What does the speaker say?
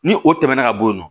Ni o tɛmɛna ka bɔ yen nɔ